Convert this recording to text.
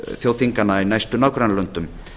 þjóðþinganna í næstu nágrannalöndum